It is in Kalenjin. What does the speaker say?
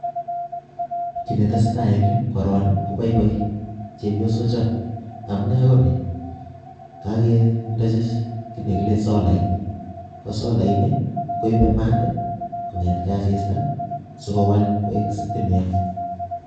kii netesetai eng yuu koroen kobaibai chebyosok choo amunee konii kagebdachi kii negilee solait ko solaini koibaa mat eng asista si kowal koek stimet